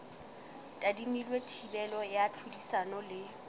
tadimilwe thibelo ya tlhodisano le